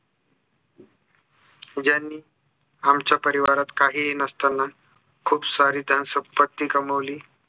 ज्यांनी आमच्या परिवारात काही ही नसतांना खूप सारी धनसंपत्ती कमवली